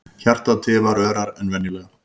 Hjartað tifar örar en venjulega.